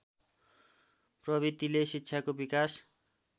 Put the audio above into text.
प्रवृतिले शिक्षाको विकास